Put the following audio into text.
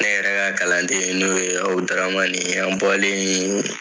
An yɛrɛ ka kalanden n'o ye ABUDARAMANI ye an bɔlen yen